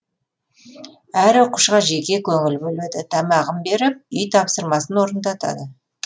әр оқушыға жеке көңіл бөледі тамағын беріп үй тапсырмасын орындатады